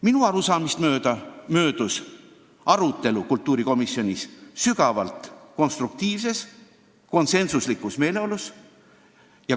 Minu arusaamist mööda möödus arutelu kultuurikomisjonis sügavalt konstruktiivses ja konsensuslikus meeleolus.